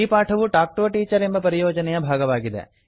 ಈ ಪಾಠವು talk to a teacher ಎಂಬ ಪರಿಯೋಜನೆಯ ಭಾಗವಾಗಿದೆ